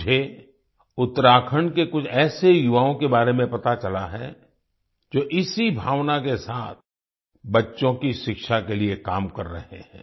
मुझे उत्तराखंड के कुछ ऐसे युवाओं के बारे में पता चला है जो इसी भावना के साथ बच्चों की शिक्षा के लिए काम कर रहे हैं